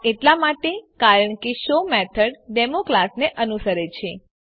આ એટલા માટે કારણ કે શો મેથડ ડેમો ક્લાસને અનુસરે છે